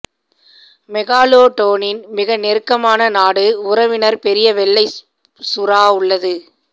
மெகாலோடோனின் மிக நெருக்கமான நாடு உறவினர் பெரிய வெள்ளை சுறா உள்ளது